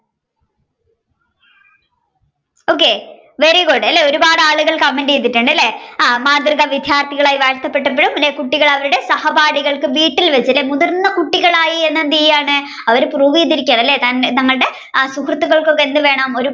okayvery good ഒരുപാട് ആളുകൾ comment ചെയ്തിട്ടുണ്ട് അല്ലെ ആ മാതൃക വിദ്യാര്തകളായി വാഴ്ത്തപെട്ടപ്പഴും പിന്നെ കുട്ടികൾ അവരുടെ സഹപാഠികൾക്ക് വീട്ടിൽ വച്ച് അല്ലെ മുതിർന്ന കുട്ടികളായി എന്തെയാണ് അവർ prove ചെയ്തിരിക്കയാണ് അല്ലെ തങ്ങളുടെ ആ സുഹൃത്തുക്കൾക്ക് ഒക്കെ എന്ത് വേണം ഒരു